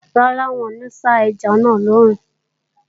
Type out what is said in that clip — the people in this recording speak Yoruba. Rárá, n ò ní sá ẹja náà lòòrùn